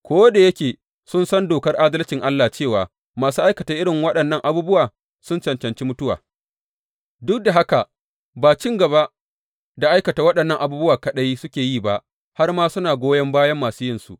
Ko da yake sun san dokar adalcin Allah cewa masu aikata irin waɗannan abubuwa sun cancanci mutuwa, duk da haka ba cin gaba da aikata waɗannan abubuwa kaɗai suke yi ba, har ma suna goyon bayan masu yinsu.